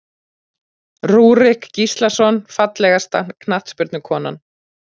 Rúrik Gíslason Fallegasta knattspyrnukonan?